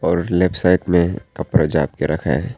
और left side में कपरा जाप के रखा है।